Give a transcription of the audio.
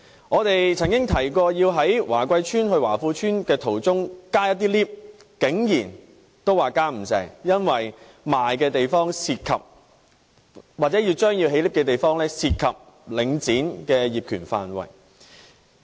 我們曾經提議在華貴邨去華富邨途中增建升降機，但竟然也不成功，因為出售了的地方或可增建升降機的地方涉及領展的業權範圍。